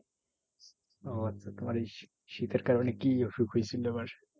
ওহ আচ্ছা তোমার এই শী~ শীতের কারণে কি অসুখ হয়েছিলো আবার?